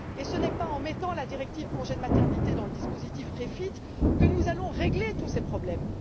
Et ce n'est pas en mettant la directive congé de maternité dans le dispositif REFIT que nous allons régler tous ces problèmes.